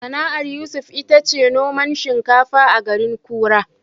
Sana'ar Yusuf ita ce noman shinkafa a garin Kura.